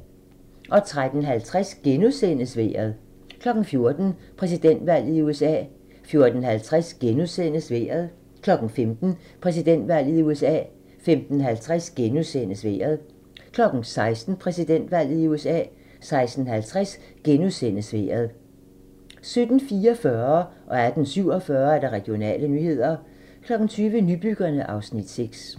13:50: Vejret * 14:00: Præsidentvalget i USA 14:50: Vejret * 15:00: Præsidentvalget i USA 15:50: Vejret * 16:00: Præsidentvalget i USA 16:50: Vejret * 17:44: Regionale nyheder 18:47: Regionale nyheder 20:00: Nybyggerne (Afs. 6)